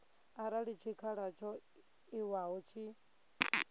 arali tshikhala tsho ewaho tshi